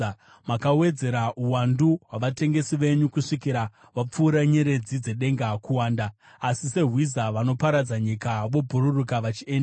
Makawedzera uwandu hwavatengesi venyu kusvikira vapfuura nyeredzi dzedenga kuwanda. Asi sehwiza, vanoparadza nyika vobhururuka vachienda.